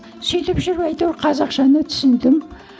сөйтіп жүріп әйтеуір қазақшаны түсіндім